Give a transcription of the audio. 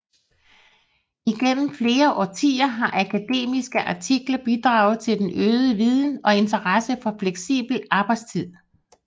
Igennem flere årtier har akademiske artikler bidraget til den øgede viden og interesse for fleksibel arbejdstid